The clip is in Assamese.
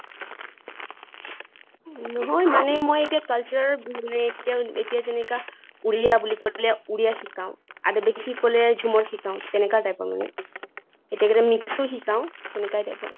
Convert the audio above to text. নহয় মানে মই এতিয়া culture মানে এতিয়া যেনেআ ওড়িয়া বুলি কৈ পালে ওড়িয়া শিকাওঁ, আধিবাসী কʼলে ঝুমুৰ শিকাওঁ তেনেকে type ৰ মানে। কেতিয়া কেতিয়া mixed ও শিকাওঁ, তেনেকাই type ৰ।